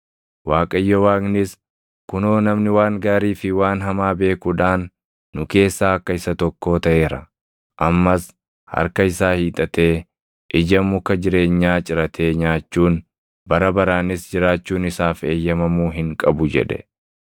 Waaqayyo Waaqnis, “Kunoo namni waan gaarii fi waan hamaa beekuudhaan nu keessaa akka isa tokkoo taʼeera. Ammas harka isaa hiixatee, ija muka jireenyaa ciratee nyaachuun, bara baraanis jiraachuun isaaf eeyyamamuu hin qabu” jedhe.